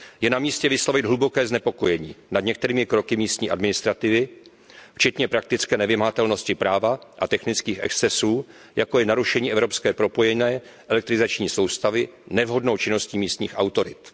Je namístě vyslovit hluboké znepokojení nad některými kroky místní administrativy, včetně praktické nevymahatelnosti práva a technických excesů, jako je narušení evropské propojené elektrizační soustavy nevhodnou činností místních autorit.